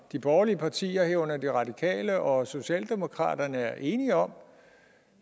de borgerlige partier herunder de radikale og socialdemokratiet er enige om